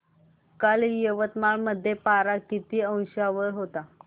काल यवतमाळ मध्ये पारा किती अंशावर होता